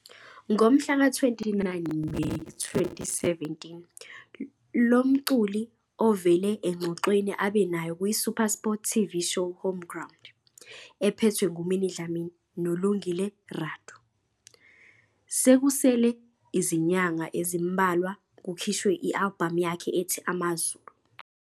Ngomhlaka 29 Meyi 2017, lo mculi uvele engxoxweni abe nayo kwiSuperSport TV Show Homeground, ephethwe nguMinnie Dlamini noLungile Radu, sekusele izinyanga ezimbalwa kukhishwe i-albhamu yakhe ethi Amazulu.